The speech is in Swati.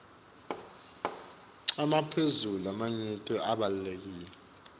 emaphuzu lamanyenti labalulekile